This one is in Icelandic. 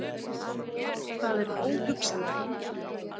Það er óhugsandi